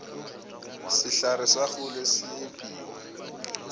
sehlare sa kgole se epiwa